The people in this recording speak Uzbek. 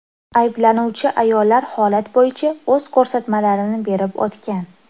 Ayblanuvchi ayollar holat bo‘yicha o‘z ko‘rsatmalarini berib o‘tgan.